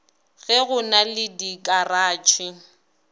ge go na le dikaratšhe